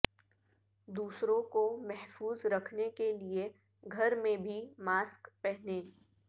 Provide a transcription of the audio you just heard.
دوسروں کو محفوظ رکھنے کے لیے گھر میں بھی ماسک پہنیں